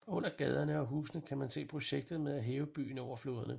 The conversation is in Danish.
Under gaderne og husene kan man se projektet med at hæve byen over floderne